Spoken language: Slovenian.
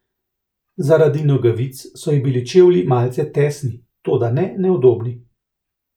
Zaradi nogavic so ji bili čevlji malce tesni, toda ne neudobni.